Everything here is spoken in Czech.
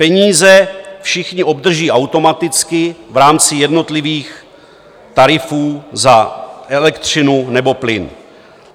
Peníze všichni obdrží automaticky v rámci jednotlivých tarifů za elektřinu nebo plyn.